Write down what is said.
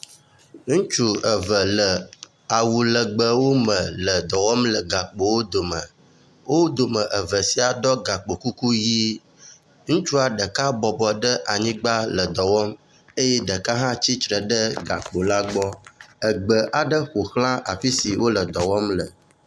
Ŋutsu eve le awu legbewo me le dɔwɔm le gakpowo dome. Wo dometɔ eve sia do gakpokuku ʋi. Ŋutsu ɖeka bɔbɔ ɖe anyigba le dɔ wɔm eye ɖeka hã tsitre ɖe gakpo la gbɔ. Egbe aɖe ƒo xla afi si wole dɔ wɔm le.